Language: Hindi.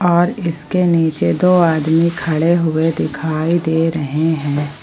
और इसके नीचे दो आदमी खड़े हुए दिखाई दे रहे हैं।